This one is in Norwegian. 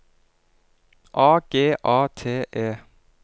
A G A T E